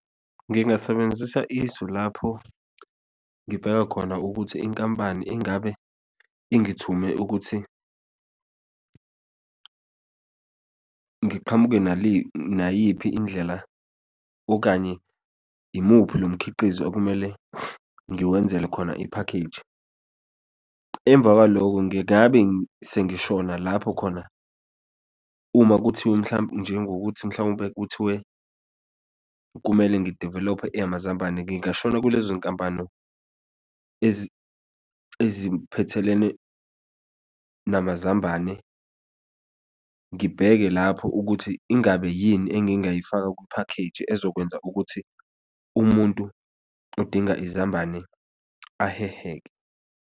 Ngingasebenzisa isu lapho ngibheka khona ukuthi inkampani ingabe ingithume ukuthi ngiqhamuke nayiphi indlela, okanye imuphi lomkhiqizo okumele ngiwenzele khona iphakheji. Emva kwalokho ngingabe sengishona lapho khona uma kuthiwa, mhlawumbe njengokuthi mhlawumpe kuthiwe, kumele ngi-develop-e eyamazambane, ngingashona kulezo yinkampano eziphethelene namazambane, ngibheke lapho ukuthi ingabe yini engingayifaka kuphakheji ezokwenza ukuthi umuntu odinga izambane aheheke.